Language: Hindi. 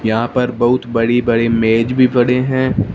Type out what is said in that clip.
यहां पर बहुत बड़ी बड़ी मेज भी पड़े हैं।